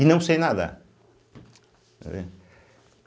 E não sei nadar.